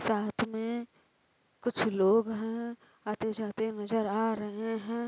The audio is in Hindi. साथ में कुछ लोग है| आते जाते नज़र आ रहे है।